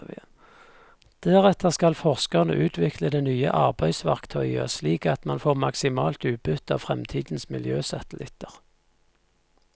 Deretter skal forskerne utvikle det nye arbeidsverktøyet, slik at man får maksimalt utbytte av fremtidens miljøsatellitter.